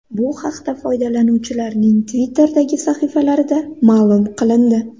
Bu haqda foydalanuvchilarning Twitter’dagi sahifalarida ma’lum qilindi .